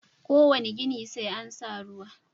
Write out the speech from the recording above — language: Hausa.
Kowane gini sai an sa ruwa.